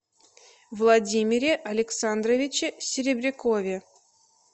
владимире александровиче серебрякове